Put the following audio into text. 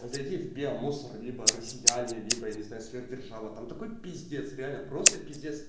а зайди в биомусор либо россияне либо я не знаю сверхдержава там такой пиздец реально просто пиздец